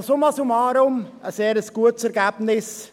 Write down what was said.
Summa summarum ist dies ein sehr gutes Ergebnis.